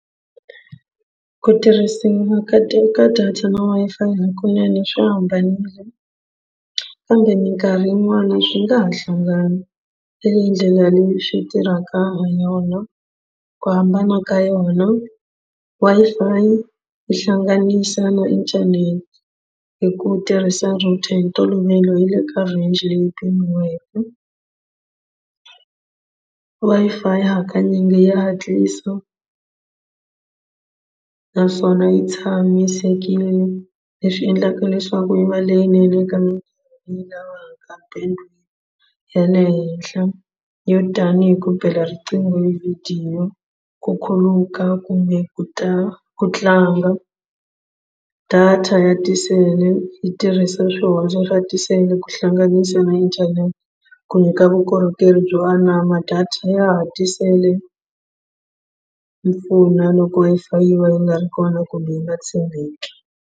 Ku tirhisiwa ka data na Wi-Fi hakunene swi hambanile kambe mikarhi yin'wani swi nga ha hlangana hi leyi ndlela leyi swi tirhaka ha yona ku hambana ka yona Wi-Fi yi hlanganisa na internet hi ku tirhisa router hi ntolovelo yi le ka range leyi pimiweke Wi-Fi hakanyingi ya hatlisa naswona yi tshamisekile leswi endlaka leswaku yi va leyinene eka ya le henhla yo tanihi ku bela riqingho hi vhidiyo ku khuluka kumbe ku ta ku tlanga data ya tisele yi tirhisa swihundla swa tisele ku hlanganisa na internet ku nyika vukorhokeri byo anama data ya ha tisele mpfuno loko Wi-Fi yi va yi nga ri kona kumbe yi nga tshembeki.